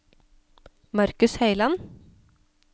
Marcus Høiland